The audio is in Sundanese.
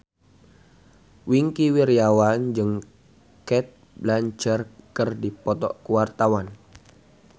Wingky Wiryawan jeung Cate Blanchett keur dipoto ku wartawan